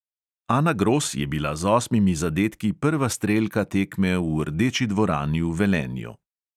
Ana gros je bila z osmimi zadetki prva strelka tekme v rdeči dvorani v velenju.